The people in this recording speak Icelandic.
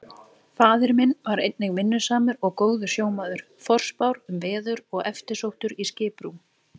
Faðir minn var einnig vinnusamur og góður sjómaður, forspár um veður og eftirsóttur í skiprúm.